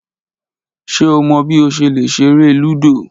Ṣe o mọ bi o ṣe le ṣere ludo?